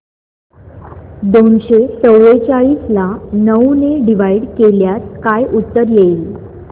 दोनशे चौवेचाळीस ला नऊ ने डिवाईड केल्यास काय उत्तर येईल